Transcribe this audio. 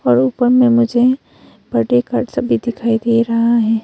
ऊपर में मुझे बर्थडे कार्ड सभी दिखाई दे रहा है।